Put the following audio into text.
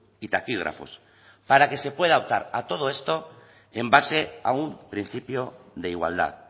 y taquígrafos para que se pueda votar a todo esto en base a un principio de igualdad